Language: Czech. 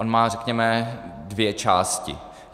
On má, řekněme, dvě části.